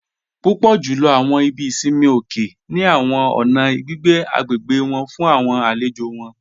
Púpọ̀ júlọ̀ awọn ìbí ìṣinmi òkè ni awọn ọ̀nà gbigbé agbégbe wọn fún awọn àlèjò wọn